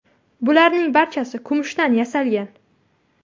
Bularning barchasi kumushdan yasalgan.